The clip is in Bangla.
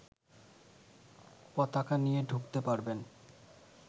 পতাকা নিয়ে ঢুকতে পারবেন